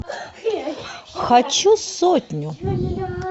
хочу сотню